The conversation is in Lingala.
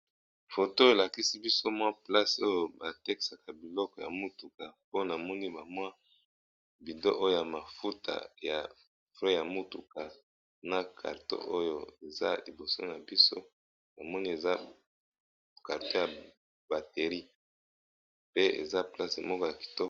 Photo oyo elakisi biso mwa place oyo batekisaka babiloko ya mutuka namoni balakisi bido ya mafuta na mwa carton ya bateri